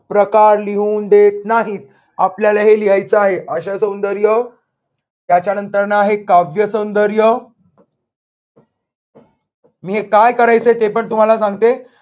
प्रकार लिहून देत नाहीत. आपल्याला हे लिहायच आहे. आशयसौंदर्य याच्यानंतर आहे काव्यसौंदर्य मी हे काय करायचय ते पण तुम्हाला सांगते.